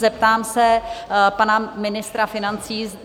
Zeptám se pana ministra financí?